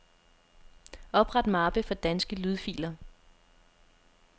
Opret mappe for danske lydfiler.